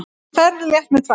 Ferð létt með tvær.